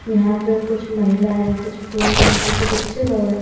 यहां पे कुछ महिला है कुछ पुरुष है कुछ बच्चे लोग हैं।